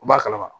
U b'a kalama